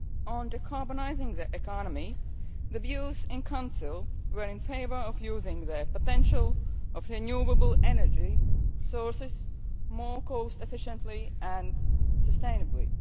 on decarbonising the economy, the views in Council were in favour of using the potential of renewable energy sources more cost efficiently and sustainably.